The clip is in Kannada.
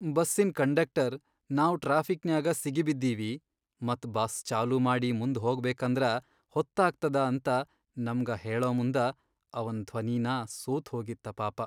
ಬಸ್ಸಿನ್ ಕಂಡಕ್ಟರ್ ನಾವ್ ಟ್ರಾಫಿಕ್ನ್ಯಾಗ ಸಿಗಿಬಿದ್ದೀವಿ ಮತ್ ಬಸ್ ಚಾಲೂ ಮಾಡಿ ಮುಂದ್ ಹೋಗಬೇಕಂದ್ರ ಹೊತ್ತಾಗ್ತದ ಅಂತ ನಮ್ಗ ಹೇಳಮುಂದ ಅವನ್ ಧ್ವನಿನಾ ಸೋತ್ ಹೋಗಿತ್ತ ಪಾಪ.